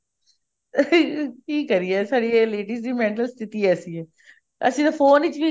ਕੀ ਕਰੀਏ ਸਾਡੀ ladies ਦੀ mental ਸਥਿਤੀ ਐਸੀ ਹੈ ਅਸੀਂ ਤਾਂ phone ਵਿਕ ਵੀ